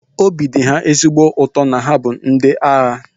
Obi dị ha ezigbo ụtọ na ha bụ ndị agha